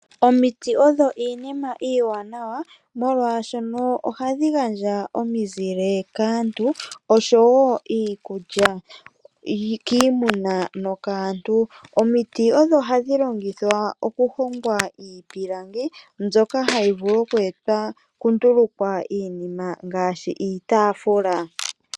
Omiti odho iinima iiwanawa molwashoka ohadhi gandja omizile kaantu, oshowo iikulya kiimuna nokaantu. Omiti odho hadhi longithwa okuhongwa iipilangi mbyoka hayi vulu okundulukwa iinima ngaashi iitafula.